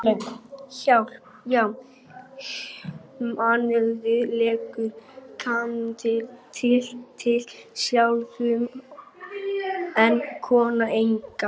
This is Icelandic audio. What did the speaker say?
Hjá manninum leggur karlmaðurinn til sáðfrumuna en konan eggið.